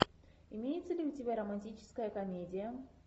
имеется ли у тебя романтическая комедия